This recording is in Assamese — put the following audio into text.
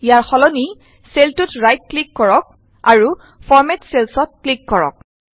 ইয়াৰ সলনি চেলটোত ৰাইট ক্লিক কৰক আৰু ফৰমেট চেলচ ত ক্লিক কৰক